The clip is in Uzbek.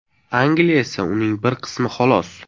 Angliya esa uning bir qismi, xolos.